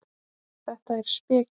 Þetta er speki.